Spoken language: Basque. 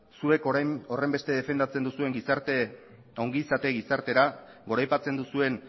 zuek orain horrenbeste defendatzen duzuen ongizate gizartera goraipatzen duzuen